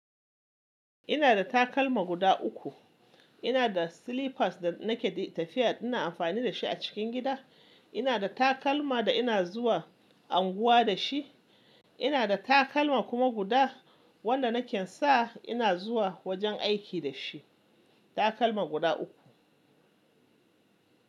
Ina da takalma guda uku. Ina da slippers da nake tafiya ina amfani da shi a cikin gida. Ina da takalma da ina zuwa unguwa da shi. Ina da takalma kuma guda wanda nake sa ina zuwa wajen aiki da shi. Takalma guda uku.